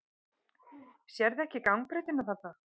Sérðu ekki gangbrautina þarna?